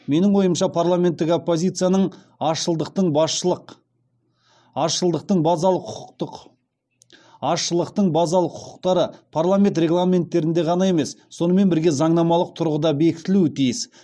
менің ойымша парламенттік опозицияның азшылықтың базалық құқықтары парламент регламенттерінде ғана емес сонымен бірге заңнамалық тұрғыда бекітілуі тиіс